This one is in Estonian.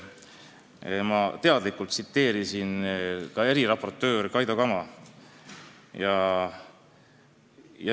Ma teadlikult tsiteerisin eriraportöör Kaido Kama.